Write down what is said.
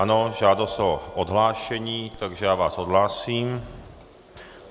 Ano, žádost o odhlášení, takže já vás odhlásím.